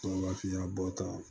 Wa fiyabɔ tan